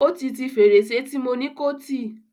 Ó ti ti fèrèsé tí mo ni kó tì.